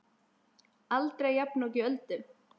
Aldrei jafnoki Öldu.